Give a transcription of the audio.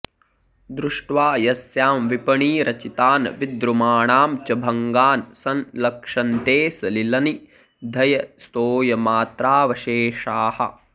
दृष्ट्वा यस्यां विपणिरचितान् विद्रुमाणां च भङ्गान् संलक्ष्यन्ते सलिलनिधयस्तोयमात्रावशेषाः